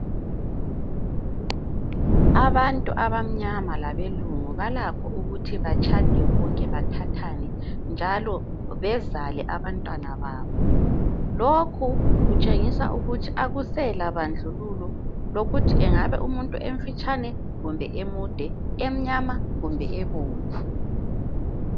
Abantu abamnyama labelungu balakho ukuthi batshade bonke bathathane njalo bezale abantwana babo. Lokhu kutshengisa ukuthi akusela bandlululo lokuthi engabe umuntu engabe emfitshane kumbe emude, emnyama kumbe ebomvu.